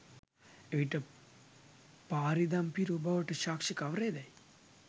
එවිට පාරී දම් පිරූ බවට සාක්ෂි කවරේදැයි